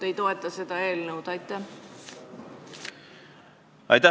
Aitäh!